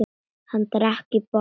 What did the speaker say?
Hann drakk í botn.